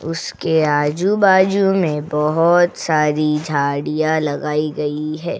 उसके आजू-बाजू में बहोत सारी झाड़ियाँ लगाई गई है।